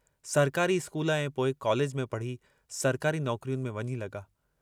सरकारी स्कूल ऐं पोइ कॉलेज में पढ़ी सरकारी नौकरियुनि में वञी लगा।